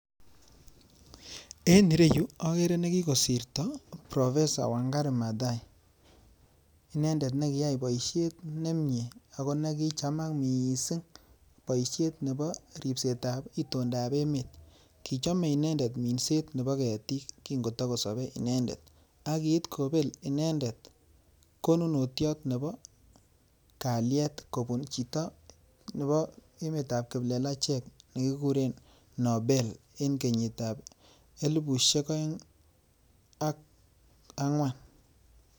En ireyuu okere nekikosirto proffesor wangari mathai nekiyai boishet nemie ako nekichamak missing boishet nebo ripset ab itondap emet kichome inended minset nepo ketik kin kitokosope inended ak kiit kobel inendet kononotiot nebo kaliet kobun chito nebo emet ab kiplelachek nekikuren nobel en kenyit ab elibushek oeng ak angwan